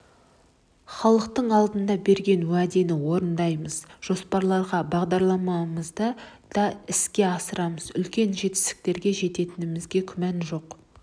халық алдында берген уәдені орындаймыз жоспарлаған бағдарламамызды да іске асырамыз үлкен жетістіктерге жететінімізге күмәнім жоқ